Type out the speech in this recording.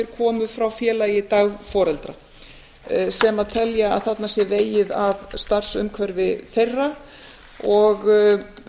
komu frá félagi dagforeldra sem telja að þarna sé vegið að starfsumhverfi þeirra og